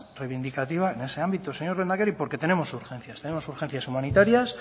reivindicativa en ese ámbito señor lehendakari porque tenemos urgencias tenemos urgencias humanitarias